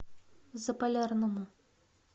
заполярному